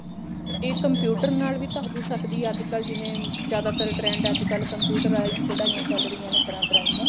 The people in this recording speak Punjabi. ਇਹ computer ਨਾਲ ਵੀ ਤਾਂ ਹੋ ਸਕਦੀ ਹੈ ਅੱਜਕਲ ਜਿਵੇਂ ਜਿਆਦਾ ਤਰ trend ਅੱਜਕਲ computerized ਕਢਾਈਆਂ ਚਲ ਰਹੀਆਂ ਨੇ ਤਰ੍ਹਾਂ ਥਾਂ ਦੀਆਂ